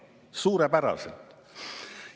Suurepäraselt!